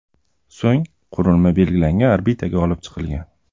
So‘ng qurilma belgilangan orbitaga olib chiqilgan.